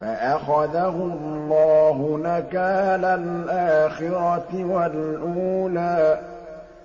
فَأَخَذَهُ اللَّهُ نَكَالَ الْآخِرَةِ وَالْأُولَىٰ